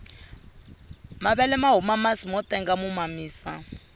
mavele mahuma masi motenga mo mamisa